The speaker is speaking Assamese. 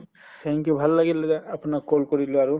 thank you ভাল লাগিল দাদা আপোনাক call কৰিলো আৰু